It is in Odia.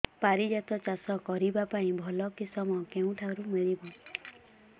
ପାରିଜାତ ଚାଷ କରିବା ପାଇଁ ଭଲ କିଶମ କେଉଁଠାରୁ ମିଳିବ